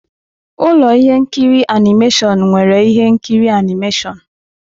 Ụlọ ihe nkiri animation nwere ihe nkiri animeshịon.